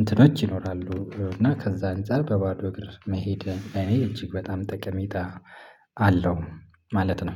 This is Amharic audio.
እንትኖች ይኖራሉ እና ከዛ አንፃር በባዶ እግር መሄድ እኔ እጅግ በጣም ጠቀሜታ አለው። ማለት ነው